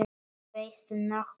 Veistu nokkuð af hverju?